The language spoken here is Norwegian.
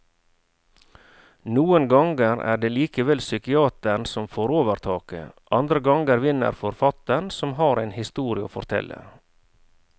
Noen ganger er det likevel psykiateren som får overtaket, andre ganger vinner forfatteren som har en historie å fortelle.